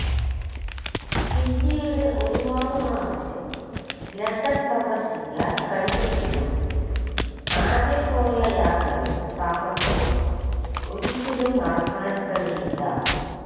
പിന്നീട് ഒരു പാട് പ്രാവശ്യം ലണ്ടന് സന്ദര്ശിക്കാന് കഴിഞ്ഞെങ്കിലും ആദ്യം പോയ യാത്രയും താമസവും ഒരിക്കലും മറക്കാന് കഴിയില്ല